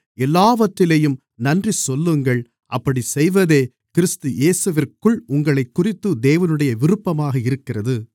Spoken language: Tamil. எல்லாவற்றிலேயும் நன்றி சொல்லுங்கள் அப்படிச் செய்வதே கிறிஸ்து இயேசுவிற்குள் உங்களைக்குறித்து தேவனுடைய விருப்பமாக இருக்கிறது